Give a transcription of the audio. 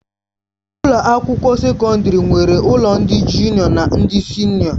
Ụlọ akwụkwọ sekọndrị nwere ụlọ ndị jụnịọ na ndị sịnịọ